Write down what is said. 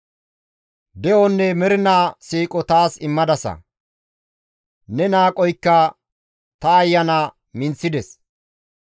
De7onne mernaa siiqo taas immadasa; ne naagoykka ta ayana minththides.